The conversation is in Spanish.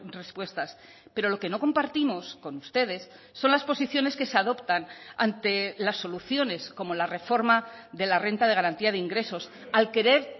respuestas pero lo que no compartimos con ustedes son las posiciones que se adoptan ante las soluciones como la reforma de la renta de garantía de ingresos al querer